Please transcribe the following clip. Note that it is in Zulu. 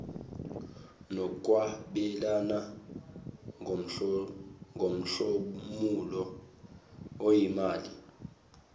nokwabelana ngomhlomulo oyimali